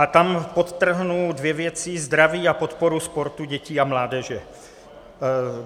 A tam podtrhnu dvě věci: zdraví a podporu sportu dětí a mládeže.